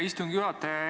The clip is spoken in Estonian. Hea istungi juhataja!